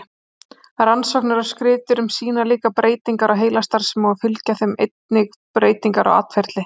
Rannsóknir á skriðdýrum sýna líkar breytingar á heilastarfsemi og fylgja þeim einnig breytingar á atferli.